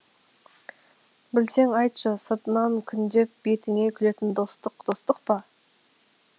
білсең айтшы сыртынан күндеп бетіне күлетін достық достық па